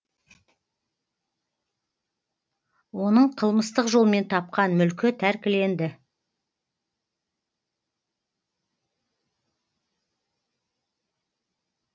оның қылмыстық жолмен тапқан мүлкі тәркіленді